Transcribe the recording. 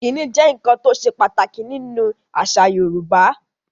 Ìkíni jẹ́ nkan tó sè pàtàkì ní nú àṣà Yorùbá